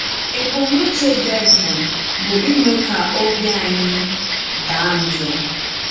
Ébùmnùchè Dèvùl bụ ịmè ka òbì ànyì daa njọ.